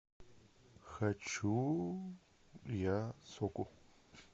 хочу я соку